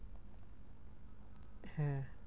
হ্যাঁ